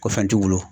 Ko fɛn t'u bolo